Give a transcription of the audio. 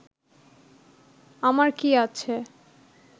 আমার কি আছে